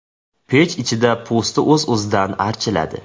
Pech ichida po‘sti o‘z-o‘zidan archiladi.